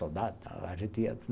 Soldado tal a gente ia.